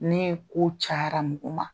Ni ko cayara nunun ma